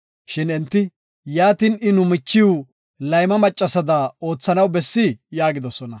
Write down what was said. Shin enti, “Yaatin, I nu michiw layma maccasada oothanaw bessii?” yaagidosona.